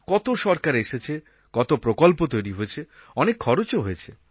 কত সরকার এসেছে কত প্রকল্প তৈরি হয়েছে অনেক খরচও হয়েছে